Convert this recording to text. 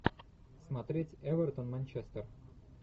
смотреть эвертон манчестер